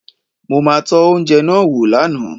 Mo ma tọ́ oúnjẹ náà wò lánàá